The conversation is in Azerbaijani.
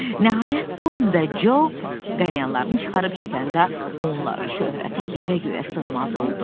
Nəhayət Tom və Co qalyanlarını çıxarıb çəkəndə onların şöhrəti yerə göyə sığmaz oldu.